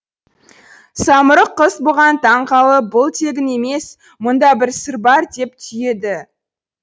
самұрық құс бұған таң қалып бұл тегін емес мұнда бір сыр бар деп түйеді